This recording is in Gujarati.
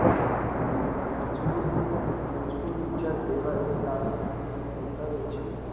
મજગૂર, મજગૂર વિચાર એવાં એક કાગળમાંથી મે ઉતાર્યો છે.